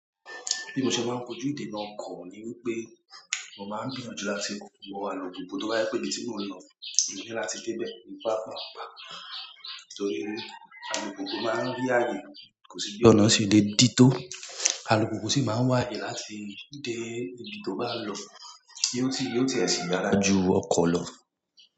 Bí mo ṣe máa ń kojú ìdènà ọkọ mi ni wípé mo máa ń gbìyànjú láti wọ alùpùpù tó bá je pé ibi tí mo n lọ mo ni lá tí dé bẹ̀ papàápàá, nítorí alùpùpù máa ń rí ààyè, kò sì bi ọ̀nà se le dí tó. Alùpùpù sì máa ń waáyé láti dé ibi tó bá lọ kí ó sì yóò ti ẹ̀ síì dára ju ọkọ̀ lọ.